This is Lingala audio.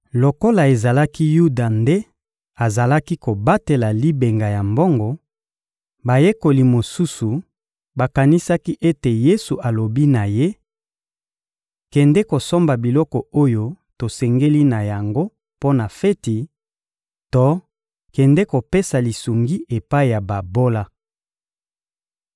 Lokola ezalaki Yuda nde azalaki kobatela libenga ya mbongo, bayekoli mosusu bakanisaki ete Yesu alobi na ye: «Kende kosomba biloko oyo tosengeli na yango mpo na feti,» to «kende kopesa lisungi epai ya babola.»